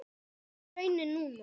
Sú er raunin núna.